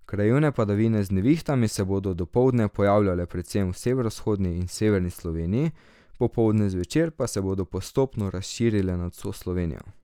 Krajevne padavine z nevihtami se bodo dopoldne pojavljale predvsem v severozahodni in severni Sloveniji, popoldne in zvečer pa se bodo postopno razširile nad vso Slovenijo.